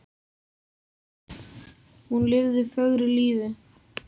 Hún lifði fögru lífi.